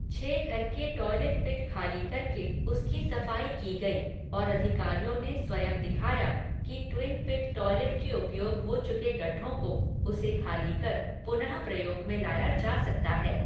छह घर के टॉइलेट पिट खाली करके उसकी सफाई की गई और अधिकारियों ने स्वयं दिखाया कि ट्विन पिट टॉइलेट के उपयोग हो चुके गड्ढों को, उसे ख़ाली कर पुनः प्रयोग में लाया जा सकता है।